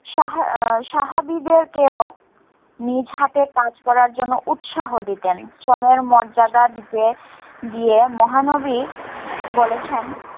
সাহা~ এর সাহাবিদেরকেও নিজ হাতে কাজ করার জন্য উৎসাহ দিতেন। শ্রমের মর্যাদা দিতে গিয়ে মহানবী বলেছেন,